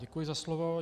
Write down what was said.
Děkuji za slovo.